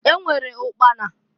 E nwere ụkpana.